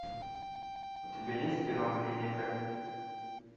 у тебя есть кино клиника